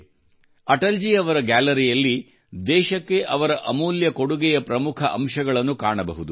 ಅಟಲ್ ಜಿ ಅವರ ಗ್ಯಾಲರಿಯಲ್ಲಿ ದೇಶಕ್ಕೆ ಅವರ ಅಮೂಲ್ಯ ಕೊಡುಗೆಯ ಪ್ರಮುಖ ಅಂಶಗಳನ್ನು ನಾವಿಲ್ಲಿ ಕಾಣಬಹುದು